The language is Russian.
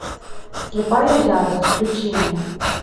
слепая ярость включи мне